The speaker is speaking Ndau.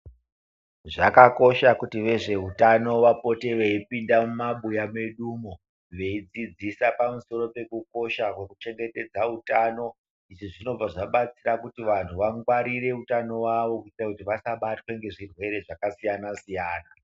Zvakakosha kuti ve zveutano vapote veyi pinda mu mabuya mwedu mwo veidzidzisa pamusoro peku kosha kweku chengetedza utano izvi zvinobva zvabatsira kuti vantu va ngwarire utano wawo kuiitire kuti vasa batwa ne zvirwere zvaka siyana siyana.